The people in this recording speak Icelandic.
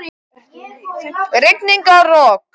Rigning og rok!